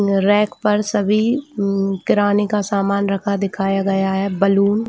रेख पर सभी किराने का समान रखा दिखाया गया है बलून --